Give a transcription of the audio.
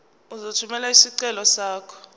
uzothumela isicelo sakho